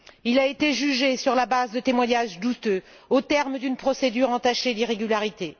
Il a été jugé sur la base de témoignages douteux, au terme d'une procédure entachée d'irrégularités.